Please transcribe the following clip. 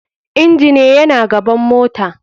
Engine yana gaban mota.